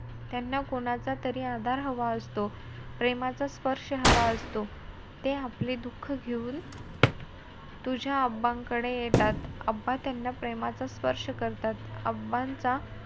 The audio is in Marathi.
त्यांना कोणाचा तर आधार हवा असतो. प्रेमाचा स्पर्श हवा असतो. ते आपले दुःख घेऊन तुझ्या कडे येतात. त्यांना प्रेमाचा स्पर्श करतात. चा,